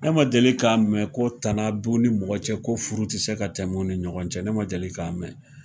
Ne ma deli ka mɛn ko tana b'u ni mɔgɔ ni ɲɔgɔn cɛ ko furu tɛ se ka tɛmɛ u ni ɲɔgɔn cɛ ne ma deli ka mɛn.